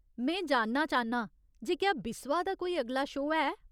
में जानना चाह्न्नां जे क्या बिस्वा दा कोई अगला शो है।